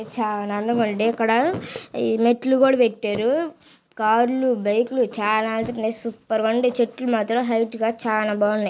ఈ మెట్లు కూడా పెట్టారు. కార్లు బైక్ చాలా ఎల్తనై సూపెర్గున్డి చెట్లు మాత్రం హైట్ గా చాలా బాగున్నై.